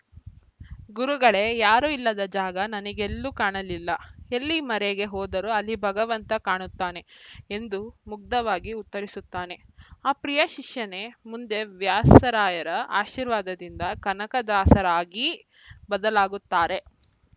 ಗುರುಗಳೇ ಯಾರೂ ಇಲ್ಲದ ಜಾಗ ನನಗೆಲ್ಲೂ ಕಾಣಲಿಲ್ಲ ಎಲ್ಲಿ ಮರೆಗೆ ಹೋದರೂ ಅಲ್ಲಿ ಭಗವಂತ ಕಾಣುತ್ತಾನೆ ಎಂದು ಮುಗ್ಧವಾಗಿ ಉತ್ತರಿಸುತ್ತಾನೆ ಆ ಪ್ರಿಯ ಶಿಷ್ಯನೇ ಮುಂದೆ ವ್ಯಾಸರಾಯರ ಆಶೀರ್ವಾದದಿಂದ ಕನಕದಾಸರಾಗಿ ಬದಲಾಗುತ್ತಾರೆ